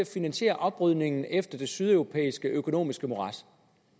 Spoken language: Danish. finansiere oprydningen efter det sydeuropæiske økonomiske morads